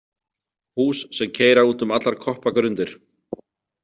Hús sem keyra út um allar koppagrundir!